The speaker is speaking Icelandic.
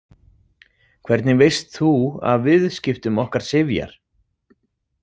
Hvernig veist þú af viðskiptum okkar Sifjar?